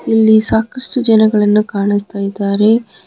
ಇಲ್ಲಿ ಸಾಕಷ್ಟು ಜನಗಳನ್ನ ಕಾಣಿಸ್ತಾ ಇದ್ದಾರೆ.